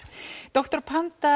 doktor